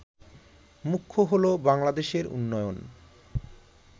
মুখ্য হল বাংলাদেশের উন্নয়ন